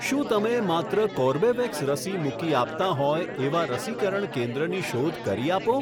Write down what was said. શું તમે માત્ર કોર્બેવેક્સ રસી મૂકી આપતાં હોય એવા રસીકરણ કેન્દ્રની શોધ કરી આપો?